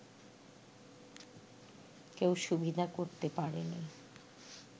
কেউ সুবিধা করতে পারেনি